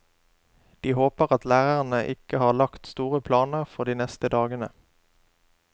De håper at lærerne ikke har lagt store planer for de neste dagene.